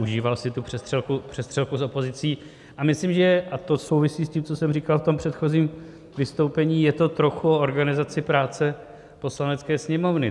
Užíval si tu přestřelku s opozicí a myslím, že - a to souvisí s tím, co jsem říkal v tom předchozím vystoupení - je to trochu o organizaci práce Poslanecké sněmovny.